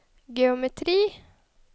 geometri